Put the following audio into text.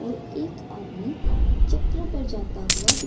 और एक आदमी चक्र पे जाता हुआ --